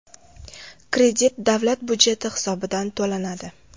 Kredit davlat budjeti hisobidan to‘lanadi.